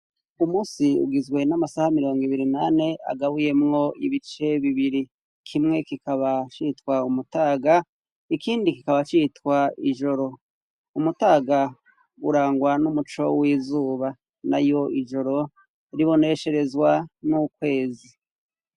Umunsi ugizwe n'amasaha mirongo ibiri n'ane, agabuyemwo ibice bibiri, kimwe kikaba citwa umutaga, ikindi kikaba citwa ijoro. Umutaga urangwa n'umuco w'izuba, nayo ijoro ribonesherezwa n'ukwezi.